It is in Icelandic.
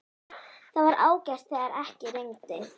Það var ágætt þegar ekki rigndi.